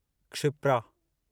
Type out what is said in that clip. Kshipra